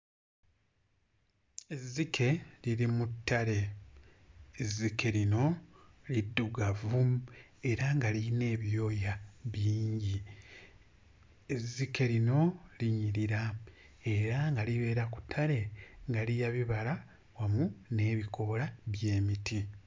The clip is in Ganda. Ezzike liri mu ttale ezzike lino liddugavu era nga lirina ebyoya bingi. Ezzike lino linyirira era nga libeera ku ttale nga lirya bibala wamu n'ebikoola by'emiti.